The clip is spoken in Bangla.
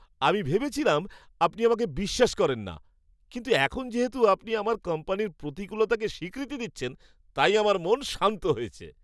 আমি ভেবেছিলাম আপনি আমাকে বিশ্বাস করেন না। কিন্তু এখন যেহেতু আপনি আমার কোম্পানির প্রতিকূলতাকে স্বীকৃতি দিয়েছেন, তাই আমার মন শান্ত হয়েছে।